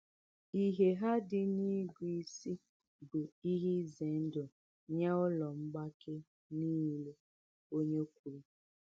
“Ìhè ha dị n’ịgụ isi bụ́ ihe ize ndụ nye ụlọ mgbake niile,” onye kwuru.